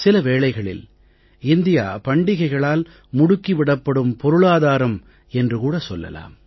சில வேளைகளில் இந்தியா பண்டிகைகளால் முடுக்கி விடப்படும் பொருளாதாரம் என்று கூட சொல்லலாம்